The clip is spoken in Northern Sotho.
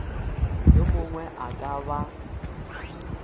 yo mongwe a ka ba